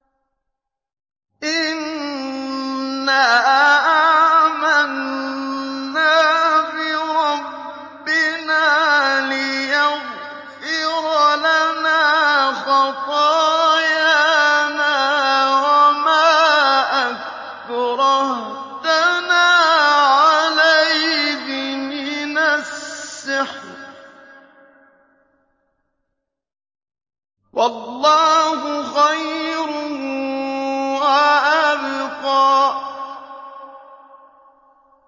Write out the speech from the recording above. إِنَّا آمَنَّا بِرَبِّنَا لِيَغْفِرَ لَنَا خَطَايَانَا وَمَا أَكْرَهْتَنَا عَلَيْهِ مِنَ السِّحْرِ ۗ وَاللَّهُ خَيْرٌ وَأَبْقَىٰ